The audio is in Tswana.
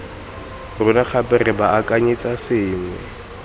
rona gape re baakanyetsa sengwe